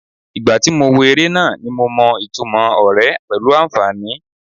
Ìgbà tí mo wo eré náà ni mo mọ ìtumò ọ̀rẹ́ pẹ̀lú àǹfàní.